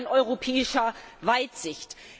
Es fehlt an europäischer Weitsicht.